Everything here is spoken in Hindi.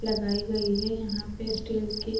लगाई गई है यहाँ पे स्टील की --